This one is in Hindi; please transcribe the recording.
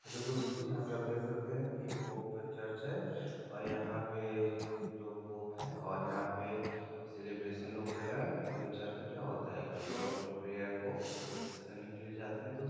हैलो दोस्तों यहाँ पे आप देख सकते है के पॉप चर्च है और यहाँ पे दो पॉप है और यहाँ पे सेलब्रैशन लोग कर रहे है क्यों की चर्च मे क्या होता है के लोग अपने प्रिय को विश करने के लिए जाते है--